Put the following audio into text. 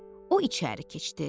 O içəri keçdi.